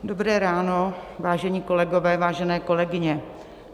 Dobré ráno, vážení kolegové, vážené kolegyně.